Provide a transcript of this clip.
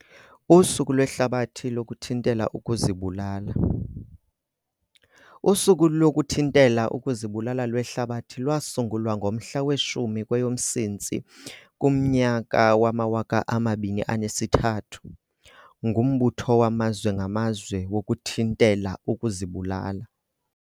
Usuku lweHlabathi lokuThintela ukuzibulala. USuku lokuThintela ukuziBulala lweHlabathi lwasungulwa ngomhla we-10 kweyoMsintsi 2003, nguMbutho waMazwe ngaMazwe wokuThintela ukuziBulala.